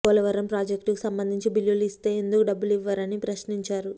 పోలవరం ప్రాజెక్టుకు సంబంధించి బిల్లులు ఇస్తే ఎందుకు డబ్బులు ఇవ్వరని ప్రశ్నించారు